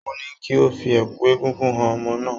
Mo ní kí o fi ẹ̀kú egúngún han ọmọ náà